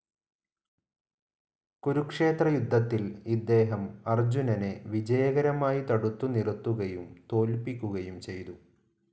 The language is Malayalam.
കുരുക്ഷേത്രയുദ്ധത്തിൽ ഇദ്ദേഹം അർജുനനെ വിജയകരമായി തടുത്തു നിറുത്തുകയും തോല്പ്പിക്കുകയും ചെയ്തു.